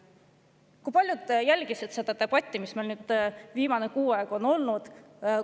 Kui paljud on jälginud seda debatti, mis meil siin nüüd viimane kuu aega on olnud?